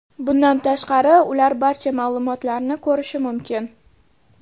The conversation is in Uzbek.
Bundan tashqari, ular barcha ma’lumotlarni ko‘rishi mumkin.